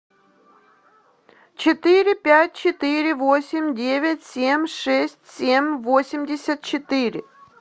четыре пять четыре восемь девять семь шесть семь восемьдесят четыре